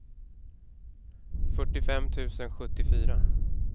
fyrtiofem tusen sjuttiofyra